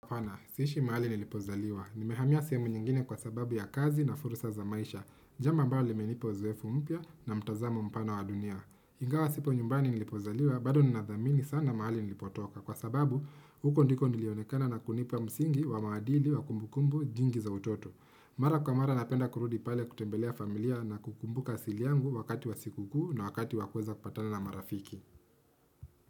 Apana, siishi mahali nilipozaliwa. Nimehamia sehemu nyingine kwa sababu ya kazi na fursa za maisha. Jambo amabalo limenipa uzoefu mpya na mtazamo mpana wa dunia. Ingawa sipo nyumbani nilipozaliwa, bado ninathamini sana mahali nilipotoka. Kwa sababu, huko ndiko nilionekana na kunipa msingi wa maadili wa kumbukumbu jingi za utoto. Mara kwa mara napenda kurudi pale kutembelea familia na kukumbuka asili yangu wakati wa sikukuu na wakati wakuweza kupatana na marafiki.